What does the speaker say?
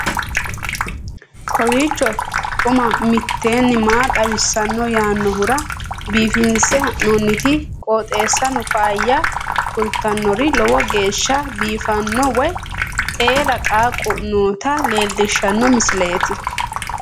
kowiicho xuma mtini maa xawissanno yaannohura biifinse haa'noonniti qooxeessano faayya kultannori lowo geeshsha biiffanno wayi eela qaaqu noota leellishshanno misileeti